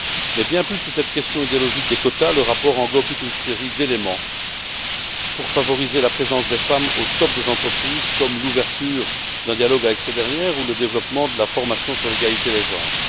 Mais, bien plus que cette question idéologique des quotas, le rapport englobe toute une série d'éléments destinés à favoriser la présence des femmes au sommet des entreprises, comme l'ouverture d'un dialogue avec ces dernières ou le développement de la formation sur l'égalité des genres.